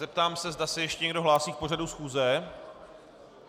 Zeptám se, zda se ještě někdo hlásí v pořadu schůze.